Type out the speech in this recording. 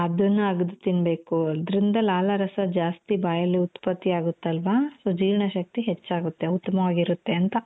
ಅದುನ್ನ ಅಗ್ದು ತಿನ್ನ್ಬೆಕು ಇದ್ರಿಂದ ಲಾಲಾರಸ ಜಾಸ್ತಿ ಬಾಯಲ್ಲಿ ಉತ್ಪತ್ತಿಯಾಗುತ್ತಲ್ವಾ so ಜೀರ್ಣಶಕ್ತಿ ಹೆಚ್ಚಾಗುತ್ತೆ ಉತ್ತಮವಾಗಿರುತ್ತೆ ಅಂತ.